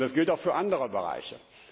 Das gilt auch für andere Bereiche.